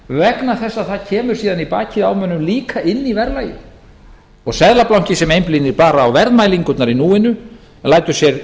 vegna þess að það kemur síðan í bakið á mönnum hina inn í verðlagið seðlabanki sem einblínir bara á verðmælingarnar í núinu en lætur sér